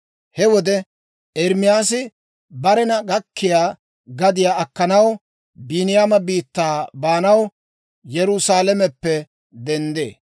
He wode Ermaasi barena gakkiyaa gadiyaa akkanaw Biiniyaama biittaa baanaw Yerusaalameppe denddee.